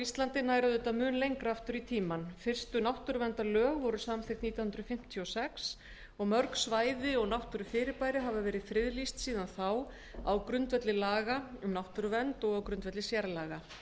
íslandi nær auðvitað mun lengra aftur í tímann fyrstu náttúruverndarlögin voru samþykkt nítján hundruð fimmtíu og sex og mörg svæði og náttúrufyrirbæri hafa verið friðlýst síðan þá á grundvelli laga um náttúruvernd og sérlaga